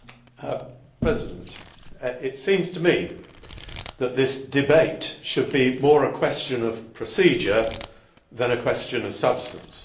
Madam President, it seems to me that this debate should be more a question of procedure than a question of substance.